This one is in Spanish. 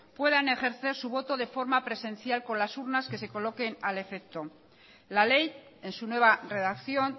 puedan ejercer su voto de forma presencial con las urnas que se coloquen al afecto la ley en su nueva redacción